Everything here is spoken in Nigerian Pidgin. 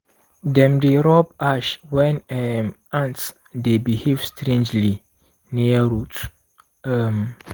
dem dey rub ash when um ants dey behave strangely near roots. um